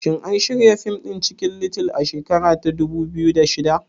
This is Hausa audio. Shin an shirya fim ɗin Cikin little a shekara ta dubu biyu da shida?